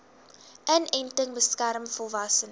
inenting beskerm volwassenes